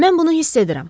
Mən bunu hiss edirəm.